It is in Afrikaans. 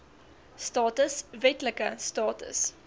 status wetlike status